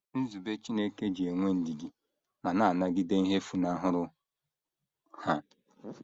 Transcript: Nzube Chineke ji enwe ndidi ma na - anagide ihe funahụrụ ha.